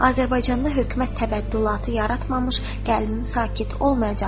Azərbaycanda hökumət təbəddülatı yaratmamış qəlbim sakit olmayacaqdır.